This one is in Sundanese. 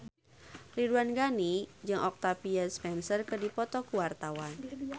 Ridwan Ghani jeung Octavia Spencer keur dipoto ku wartawan